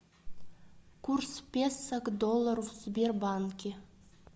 курс песо к доллару в сбербанке